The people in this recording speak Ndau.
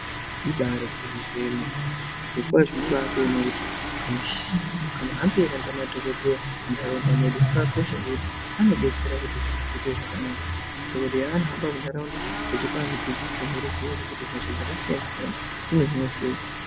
Ibari gwinyiso yemene zvirokwazvo unobatoonawo kuti kamuhambiro kanoita madhokodheya muntaraunda mwedu kakakosha ngekuti anodetsera kuti zviro zviite zvakanaka dhokodheya haanohamba muntaraunda achipa antu dzidziso neruziwo rwekuti hosha dzakasiyana siyana dzinohinwa sei.